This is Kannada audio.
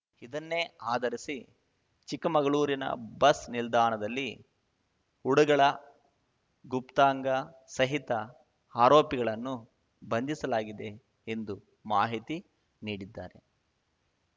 ಇದನ್ನೇ ಆಧರಿಸಿ ಚಿಕ್ಕಮಗಳೂರಿನ ಬಸ್‌ ನಿಲ್ದಾಣದಲ್ಲಿ ಉಡಗಳ ಗುಪ್ತಾಂಗ ಸಹಿತ ಆರೋಪಿಗಳನ್ನು ಬಂಧಿಸಲಾಗಿದೆ ಎಂದು ಮಾಹಿತಿ ನೀಡಿದ್ದಾರೆ